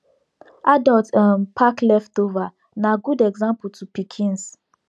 adults um pack leftover nah good example to pikins